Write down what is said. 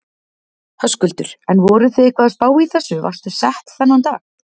Höskuldur: En voruð þið eitthvað að spá í þessu, varstu sett þennan dag?